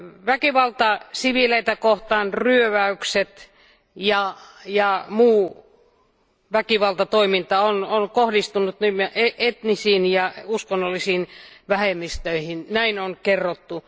Väkivalta siviilejä kohtaan, ryöväykset ja muu väkivaltatoiminta on kohdistunut nimenomaan etnisiin ja uskonnollisiin vähemmistöihin, näin on kerrottu.